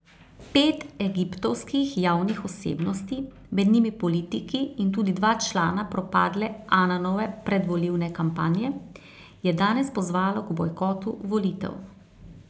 Pet egiptovskih javnih osebnosti, med njimi politiki in tudi dva člana propadle Ananove predvolilne kampanje, je danes pozvalo k bojkotu volitev.